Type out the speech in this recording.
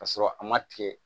Ka sɔrɔ a ma tigɛ